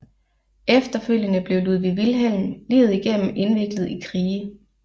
Efterfølgende blev Ludwig Wilhelm livet igennem indviklet i krige